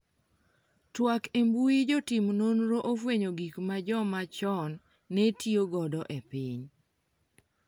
twak e mbui jotim nonro ofwenyo gik ma joma chon ne tiyo godo e piny